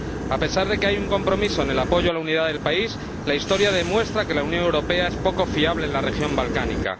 A pesar de que hay un compromiso de apoyar la unidad del país, la historia demuestra que la Unión Europea es poco fiable en la región balcánica.